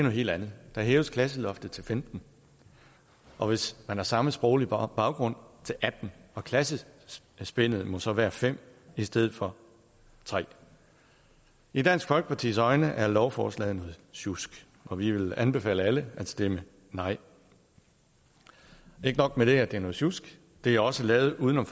helt andet der hæves klasseloftet til femten og hvis man har samme sproglige baggrund til atten og klassespændet må så være fem i stedet for tre i dansk folkepartis øjne er lovforslaget noget sjusk og vi vil anbefale alle at stemme nej og ikke nok med at det er noget sjusk det er også lavet uden om